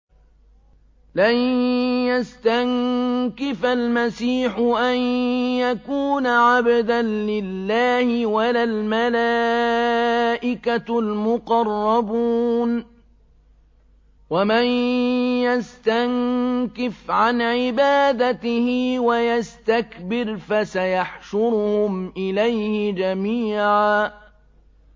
لَّن يَسْتَنكِفَ الْمَسِيحُ أَن يَكُونَ عَبْدًا لِّلَّهِ وَلَا الْمَلَائِكَةُ الْمُقَرَّبُونَ ۚ وَمَن يَسْتَنكِفْ عَنْ عِبَادَتِهِ وَيَسْتَكْبِرْ فَسَيَحْشُرُهُمْ إِلَيْهِ جَمِيعًا